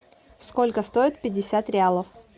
сколько стоят пятьдесят реалов